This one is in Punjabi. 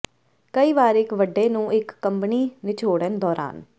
ਕਈ ਵਾਰ ਇੱਕ ਵੱਡੇ ਨੂੰ ਇੱਕ ਕੰਬਣੀ ਿਨਚੋੜਨ ਦੌਰਾਨ